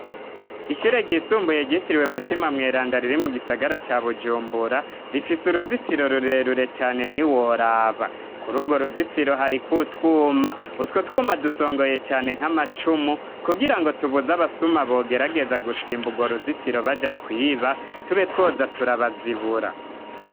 Ishure ryisumbuye ryitiriwe mutima mweranda riri mu gisagara ca Bujumbura rifise uruzitiro rure rure cane ntiworaba kuri ugwo ruzitiro hariko utwuma utwo twuma dusongoye cane nk'amacumu kugira ngo tubuza abasuma bogerageza gusimba ugwo ruzitiro baja kwiba tube twoza turabazibura.